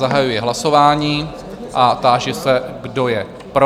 Zahajuji hlasování a táži se, kdo je pro?